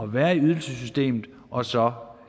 være i ydelsessystemet og så